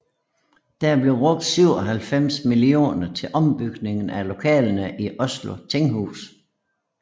Der blev brugt 97 millioner til ombygning af lokalerne i Oslo tinghus